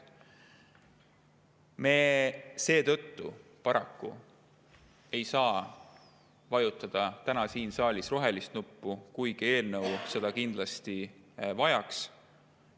ei saa me paraku vajutada täna siin saalis rohelist nuppu, kuigi eelnõu seda kindlasti vajaks.